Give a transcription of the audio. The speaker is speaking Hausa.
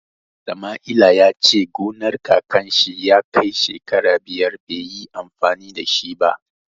Samaila ya ce gonar kakan shi ya kai shekara biyar bai yi amfani da shi ba.